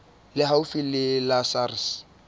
le haufi le la sars